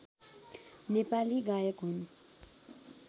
नेपाली गायक हुन्